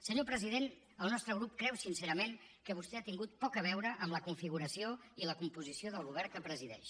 senyor president el nostre grup creu sincerament que vostè ha tingut poc a veure amb la configuració i la composició del govern que presideix